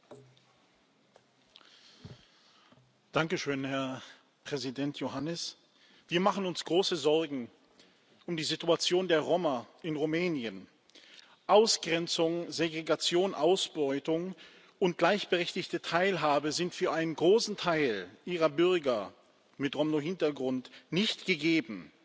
Herr Präsident! Danke schön, Herr Präsident Iohannis. Wir machen uns große Sorgen um die Situation der Roma in Rumänien Ausgrenzung, Segregation, Ausbeutung. Gleichberechtigte Teilhabe ist für einen großen Teil Ihrer Bürger mit Roma Hintergrund nicht gegeben,